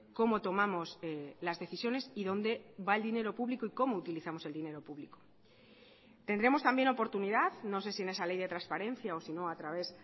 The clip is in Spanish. cómo tomamos las decisiones y dónde va el dinero público y cómo utilizamos el dinero público tendremos también oportunidad no sé si en esa ley de transparencia o si no a través